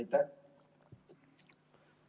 Aitäh!